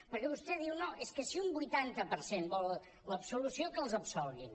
perquè vostè diu no és que si un vuitanta per cent vol l’absolució que els absolguin